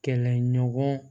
Kɛlɛɲɔgɔn